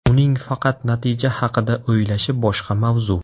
Uning faqat natija haqida o‘ylashi boshqa mavzu.